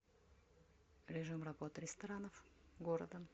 режим работы ресторанов города